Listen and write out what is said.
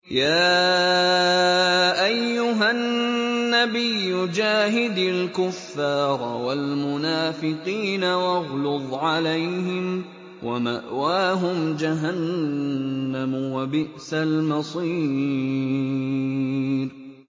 يَا أَيُّهَا النَّبِيُّ جَاهِدِ الْكُفَّارَ وَالْمُنَافِقِينَ وَاغْلُظْ عَلَيْهِمْ ۚ وَمَأْوَاهُمْ جَهَنَّمُ ۖ وَبِئْسَ الْمَصِيرُ